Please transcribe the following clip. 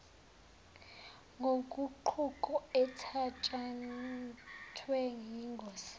yoguquko ethatshathwe yingosi